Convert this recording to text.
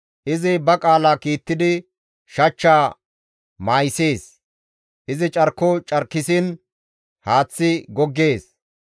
Izi ba qaala kiittidi shachchaa mayisees. Izi carko carkissiin haaththi goggees.